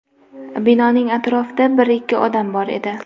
Binoning atrofida bir-ikki odam bor edi.